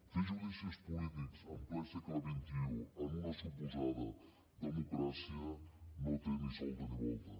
fer judicis polítics en ple segle xxi en una suposada democràcia no té ni solta ni volta